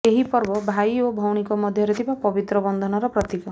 ଏହି ପର୍ବ ଭାଇ ଓ ଭଉଣୀଙ୍କ ମଧ୍ୟରେ ଥିବା ପବିତ୍ର ବନ୍ଧନର ପ୍ରତୀକ